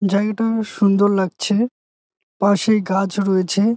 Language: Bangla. জায়গাটা বেশ সুন্দর লাগছে। পাশেই গাছ রয়েছে।